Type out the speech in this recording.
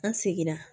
An seginna